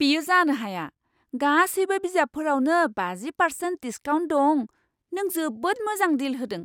बेयो जानो हाया! गासैबो बिजाबफोरावनो बाजि पारसेन्ट डिसकाउन्ट दं। नों जोबोद मोजां डिल होदों!